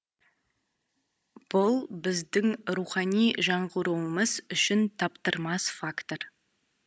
бұл біздің рухани жаңғыруымыз үшін таптырмас фактор